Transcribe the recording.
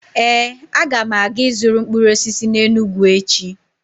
Ee, m ga-aga ịzụrụ mkpụrụ osisi n'Enugwu echi.